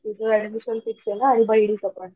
तुझं admission fix ना आणि बहिणीचं पण